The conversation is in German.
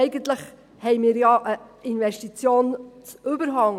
Eigentlich haben wir ja einen Investitionsüberhang.